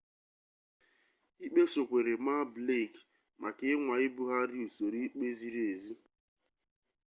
ikpe sokwere maa blake maka ịnwa ibugharị usoro ikpe ziri ezi